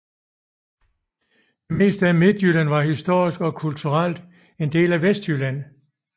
Det meste af Midtjylland var historisk og kulturelt en del af Vestjylland